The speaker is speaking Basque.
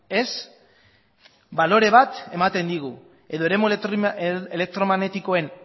ez balore bat ematen digu edo eremu elektromagnetikoen